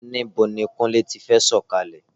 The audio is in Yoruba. Níbo ni Kúnlé ti fẹ́ sọ̀kalẹ̀?